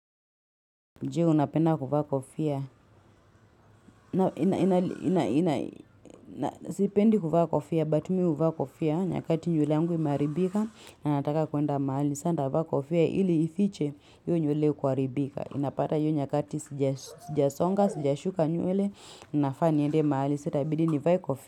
Jee unapenda kuvaa kofia, ina, ina, ina, ina, ina, sipendi kuvaa kofia, but mi huvaa kofia, nyakati nywele yangu imaharibika, na nataka kuenda mahali, sa nitavaa kofia, ili ifiche, hiyo nywele kuharibika, unapata hiyo nyakati sijasonga, sijasuka nywele, ninafaa niende mahali, sa itabidi nivae kofia.